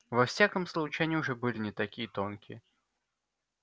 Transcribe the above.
во всяком случае они уже были не такие тонкие